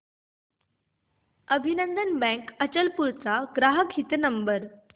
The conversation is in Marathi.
अभिनंदन बँक अचलपूर चा ग्राहक हित नंबर